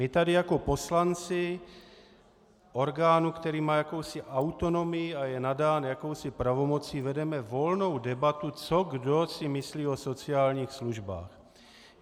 My tady jako poslanci orgánu, který má jakousi autonomii a je nadán jakousi pravomocí, vedeme volnou debatu, co kdo si myslí o sociálních službách.